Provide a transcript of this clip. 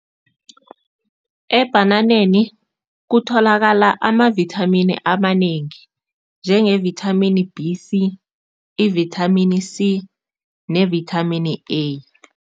Ebhananeni kutholakala amavithamini amanengi, njengevithamini B_C, ivithamini C nevithamini A.